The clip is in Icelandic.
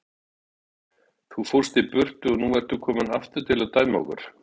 Þú fórst í burtu og nú ertu kominn aftur til að dæma okkur.